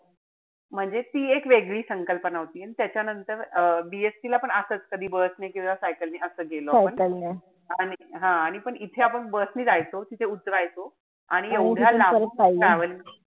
म्हणजे ती एक वेगळी संकल्पना होती. अन त्याच्यानंतर अं B. SC ला पण असच कधी bus ने किंवा cycle ने असं गेलो आपण. हा. आणि पण इथे आपण bus ने जायचो. तिथे उतरायचो. आणि एवढ्या लांबून travelling